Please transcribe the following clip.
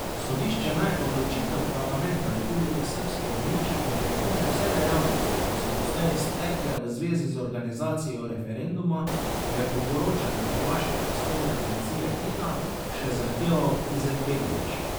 Sodišče naj odločitev parlamenta Republike srbske izniči in prekine vse dejavnosti, ki so doslej stekle v zvezi z organizacijo referenduma, je po poročanju hrvaške tiskovne agencije Hina še zahteval Izetbegović.